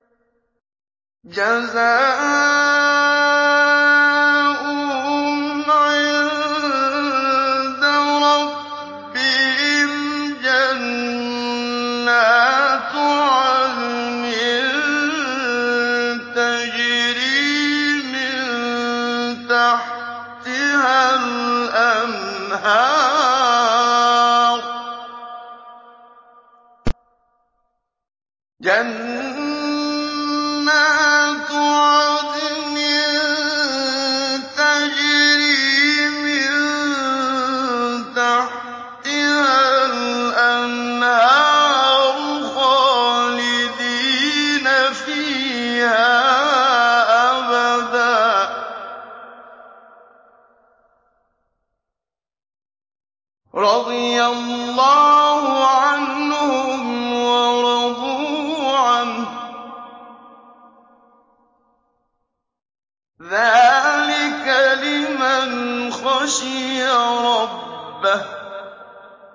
جَزَاؤُهُمْ عِندَ رَبِّهِمْ جَنَّاتُ عَدْنٍ تَجْرِي مِن تَحْتِهَا الْأَنْهَارُ خَالِدِينَ فِيهَا أَبَدًا ۖ رَّضِيَ اللَّهُ عَنْهُمْ وَرَضُوا عَنْهُ ۚ ذَٰلِكَ لِمَنْ خَشِيَ رَبَّهُ